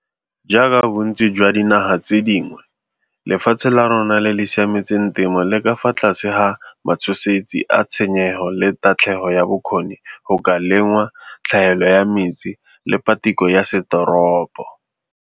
Jaaka bontsi jwa dinaga tse dingwe, lefatshe la rona le le siametseng temo le ka fa tlase ga matshosetsi a tshenyego le tatlhegelo ya bokgoni go ka lengwa, tlhaelo ya metsi le patiko ya setoropo.